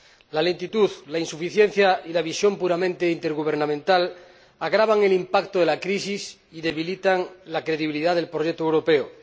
La lentitud, la insuficiencia y la visión puramente intergubernamental agravan el impacto de la crisis y debilitan la credibilidad del proyecto europeo.